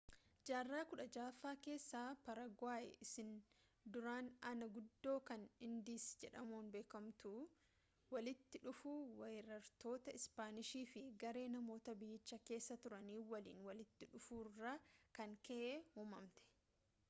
jaarraa 16ffaa keessa paaraaguwaay isiin duraan anaa guddoo kan indiisii jedhamuun beekamtu walitti dhufuu weerartoota ispaanishii fi garee namoota biyyicha keessa turanii waliin walitti dhufuurraa kan ka’e uumamte